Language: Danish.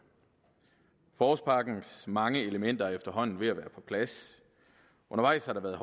forårspakkens mange elementer er efterhånden ved at være på plads undervejs har der været